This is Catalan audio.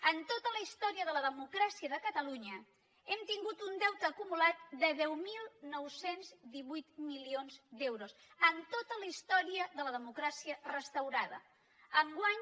en tota la història de la democràcia de catalunya hem tingut un deute acumulat de deu mil nou cents i divuit milions d’euros en tota la història de la democràcia restaurada enguany